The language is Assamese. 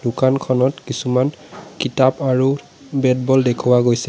দোকানখনত কিছুমান কিতাপ আৰু বেট বল দেখুওৱা গৈছে।